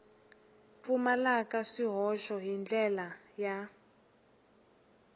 pfumalaka swihoxo hi ndlela ya